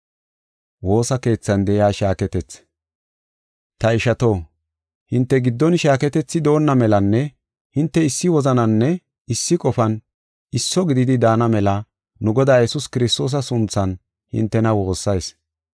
Ta ishato, hinte giddon shaaketethi doonna melanne hinte issi wozananinne issi qofan isso gididi daana mela, nu Godaa Yesuus Kiristoosa sunthan hintena woossayis.